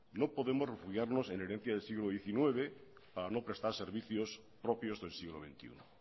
no podemos refugiarnos en herencias del siglo diecinueve para no prestar servicios propios del siglo veintiuno